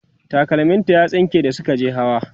takalmim ta ya tsinke da Suka je hawa